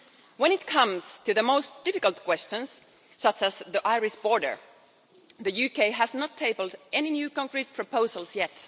When it comes to the most difficult questions such as the Irish border, the UK has not tabled any new concrete proposals yet.